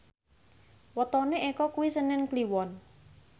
wetone Eko kuwi senen Kliwon